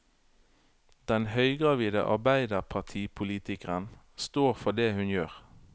Den høygravide arbeiderpartipolitikeren står for det hun gjør.